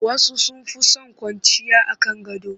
Wasu sun fi son kwanciya a kan gado